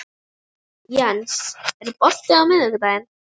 Jens, er bolti á miðvikudaginn?